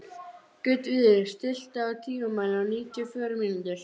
Gautviður, stilltu tímamælinn á níutíu og fjórar mínútur.